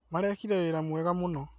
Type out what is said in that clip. Marekire wĩra mwega mũno